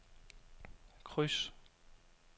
kryds